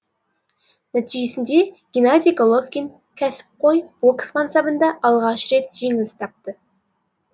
нәтижесінде геннадий головкин кәсіпқой бокс мансабында алғаш рет жеңіліс тапты